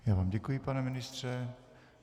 Já vám děkuji, pane ministře.